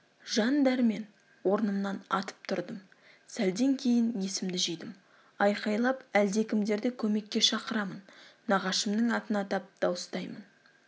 жан-дәрмен орнымнан атып тұрдым сәлден кейін есімді жидым айқайлап әлдекімдерді көмекке шақырамын нағашымның атын атап дауыстаймын